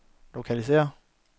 lokalisér